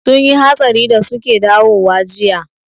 Sun yi hatsari da suke dawowa jiya